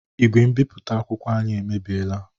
Igwe mbipụta akwụkwọ anyị emebiela.